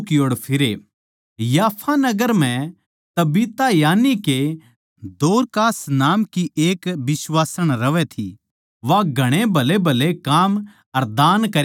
याफा नगर म्ह तबीता यानिके दोरकास नाम की एक बिश्वासण रहवै थी वा घणे भलेभले काम अर दान करया करै थी